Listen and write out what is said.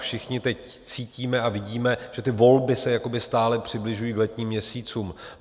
Všichni teď cítíme a vidíme, že ty volby se jakoby stále přibližují k letním měsícům.